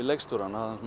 leikstjórann